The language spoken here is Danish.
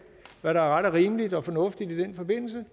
og hvad der er ret og rimeligt og fornuftigt i den forbindelse